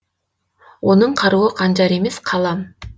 оның қаруы қанжар емес қалам